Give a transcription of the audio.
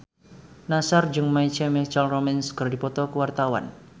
Nassar jeung My Chemical Romance keur dipoto ku wartawan